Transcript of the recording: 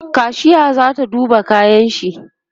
kashiya zata duba kayanshi